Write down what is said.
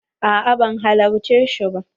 A'a ban halarci shi ba.